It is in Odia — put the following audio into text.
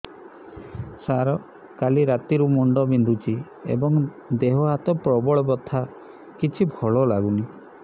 ସାର କାଲି ରାତିଠୁ ମୁଣ୍ଡ ବିନ୍ଧୁଛି ଏବଂ ଦେହ ହାତ ପ୍ରବଳ ବଥା କିଛି ଭଲ ଲାଗୁନି